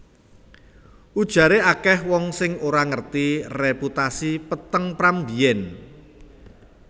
Ujaré akèh wong sing ora ngerti reputasi peteng Pram mbiyèn